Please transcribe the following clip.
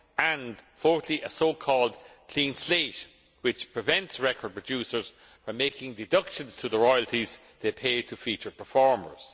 and, fourthly, a so called clean slate', which prevents record producers from making deductions from the royalties they pay to feature performers.